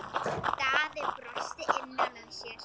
Daði brosti innra með sér.